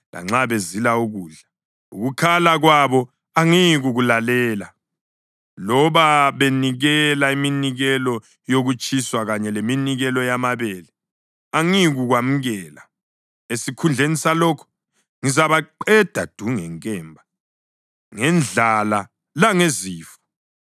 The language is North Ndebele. Lanxa bezila ukudla, ukukhala kwabo angiyikukulalela; loba benikela iminikelo yokutshiswa kanye leminikelo yamabele, angiyikuyamukela. Esikhundleni salokho, ngizabaqeda du ngenkemba, ngendlala langezifo.”